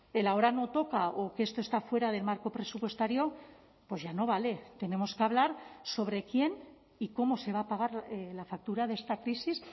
el ahora no toca o que esto está fuera del marco presupuestario pues ya no vale tenemos que hablar sobre quién y cómo se va a pagar la factura de esta crisis